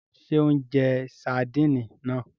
Ṣe o n jẹ Sardini náà?